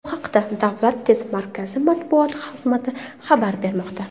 Bu haqda Davlat test markazi matbuot xizmati xabar bermoqda .